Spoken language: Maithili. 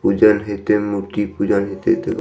पूजन हेएते मूर्ति पूजन हेएते एते।